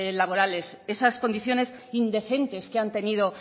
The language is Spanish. laborales esas condiciones indecentes que han tenido